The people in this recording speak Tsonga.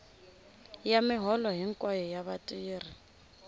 ya miholo hinkwayo ya vatirhi